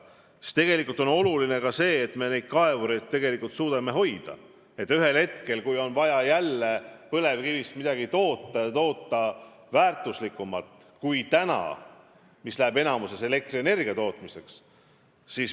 Nüüd on tegelikult oluline, et me suudame kaevureid kuidagi hoida, et ühel hetkel, kui on vaja jälle põlevkivist midagi toota, ja toota väärtuslikumalt kui praegu, kui suurem osa põlevkivist läheb elektrienergia tootmiseks, nad oleks olemas.